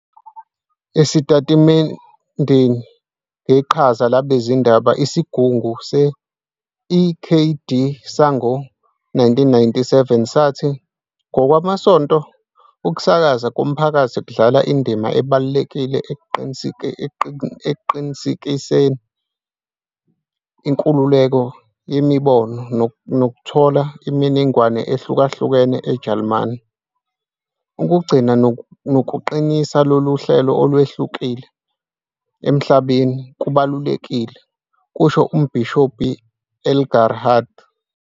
Esitatimendeni ngeqhaza labezindaba, isigungu se-EKD sango-1997 sathi, "Ngokwamasonto, ukusakazwa komphakathi kudlala indima ebalulekile ekuqinisekiseni inkululeko yemibono nokuthola imininingwane ehlukahlukene eJalimane. Ukugcina nokuqinisa lolu hlelo, "olwehlukile" emhlabeni, "kubalulekile", kusho uMbhishobhi Engelhardt...